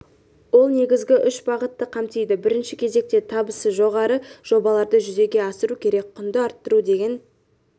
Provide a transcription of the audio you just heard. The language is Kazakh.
ол негізгі үш бағытты қамтиды бірінші кезекте табысы жоғары жобаларды жүзеге асыру керек құнды арттыру деген